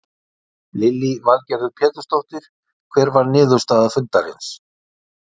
Lillý Valgerður Pétursdóttir: Hver var niðurstaða fundarins?